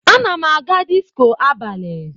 Ana m aga disko abalị.